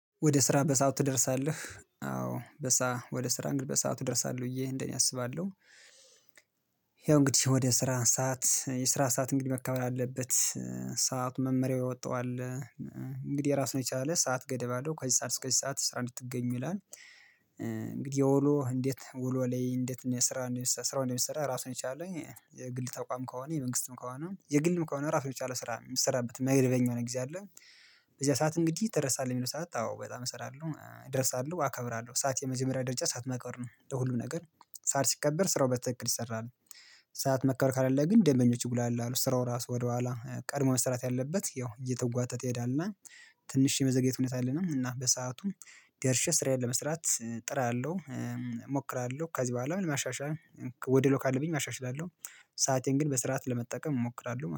ወደ ስራ በሰአት ትደርሳለህ? አዎ በሰአት ወደ ስራ እንግዲህ በሰአት እደርሳለህ ብየ እንደኔ አስባለሁ። ይኸው እንግዲህ ወደ ስራ ሰዓት የስራ ሰዓት እንግዲህ መከበር አለበት። ሰዓት መመሪያው የወጣው እንግዲህ የራሱን የቻለ ሰዓት ገደብ አለው ከዚህ ሰዓት እስከዚህ ሰዓት ስራ እንድትገኝ ይላል። እንግዲህ ውሎ እንዴት ውሎ ላይ እንዴት ስራ ስራ እንደሚሰራ ራሱን የቻለ የግል ተቋም ከሆነ የመንግስትም ከሆነ የግልም ከሆነ ራሱን የቻለ ስራ የሚሰራበት መደበኛ የሆነ ጊዜ አለ። በዚህ ሰዓት እንግዲህ ትደርሳለህ የሚለው ሰዓት አዎ በጣም እሰራለሁ እደርሳለሁ አከብራለሁ ሰዓት የመጀመሪያ ደረጃ ሰዓት ማክበር ነው። ለሁሉም ነገር ሰዓት ሲከበር ስራው በትክክል ይሰራሉ። ሰዓት መከበር ከሌለ ግን ደንበኞች ይጉላሉ ስራው ራሱ ወደኋላ ቀድሞ መስራት ያለበት ያው እየተጓተተ ይሄዳልና። ትንሽ የመዘግየት ሁኔታ አለና እና በሰአቱም ደርሼ ስራዬን ለመስራት እጥራለሁ። እሞክራለሁ ከዚህ በኋላ ማሻሻል ጎዶሎ ካለብኝ አሻሽላለሁ። ሰአቴን ግን በስርዓት ለመጠቀም እሞክራለሁ